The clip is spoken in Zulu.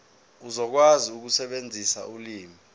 uzokwazi ukusebenzisa ulimi